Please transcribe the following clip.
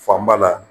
Fanba la